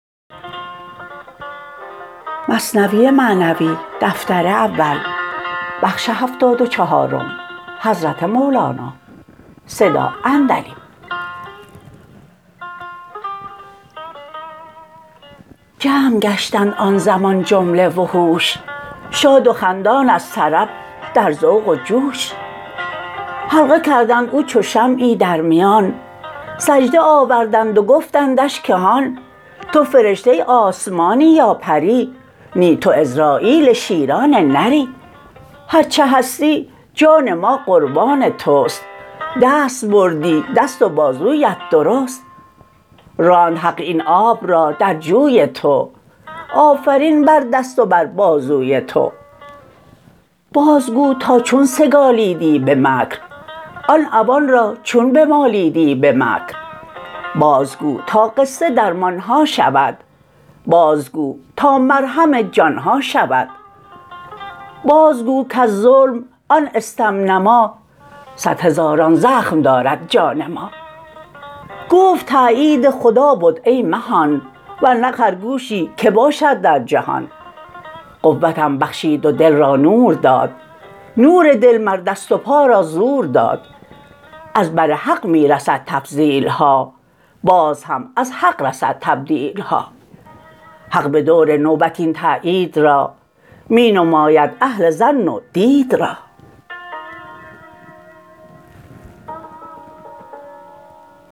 جمع گشتند آن زمان جمله وحوش شاد و خندان از طرب در ذوق و جوش حلقه کردند او چو شمعی در میان سجده آوردند و گفتندش که هان تو فرشته آسمانی یا پری نی تو عزراییل شیران نری هرچه هستی جان ما قربان تست دست بردی دست و بازویت درست راند حق این آب را در جوی تو آفرین بر دست و بر بازوی تو باز گو تا چون سگالیدی به مکر آن عوان را چون بمالیدی به مکر بازگو تا قصه درمانها شود بازگو تا مرهم جانها شود بازگو کز ظلم آن استم نما صد هزاران زخم دارد جان ما گفت تایید خدا بد ای مهان ورنه خرگوشی که باشد در جهان قوتم بخشید و دل را نور داد نور دل مر دست و پا را زور داد از بر حق می رسد تفضیلها باز هم از حق رسد تبدیلها حق بدور نوبت این تایید را می نماید اهل ظن و دید را